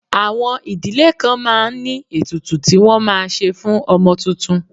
Àwọn ìdílé kan máa ń ní ètùtù tí wọ́n máa ṣe fún ọmọ tuntun